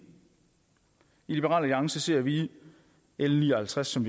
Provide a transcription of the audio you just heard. i liberal alliance ser vi l ni og halvtreds som